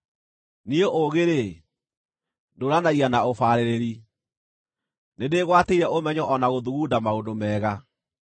“Niĩ ũũgĩ-rĩ, ndũũranagia na ũbaarĩrĩri; nĩndĩgwatĩire ũmenyo o na gũthugunda maũndũ mega.